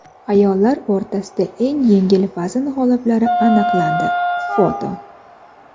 Ayollar o‘rtasida eng yengil vazn g‘oliblari aniqlandi (foto).